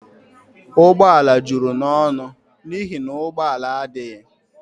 Ụgbọ ala juru n'ọnụ n'ihi na ụgbọ ala adịghị